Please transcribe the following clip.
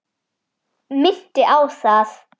Minnti á það.